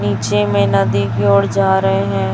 नीचे में नदी की ओर जा रहे हैं।